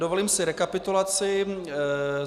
Dovolím si rekapitulaci.